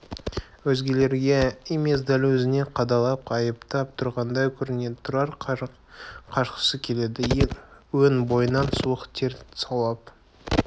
өзгелерге емес дәл өзіне қадалып айыптап тұрғандай көрінеді тұрар қашқысы келеді өн бойынан суық тер саулап